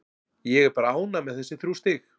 Ég er bara ánægð með þessi þrjú stig.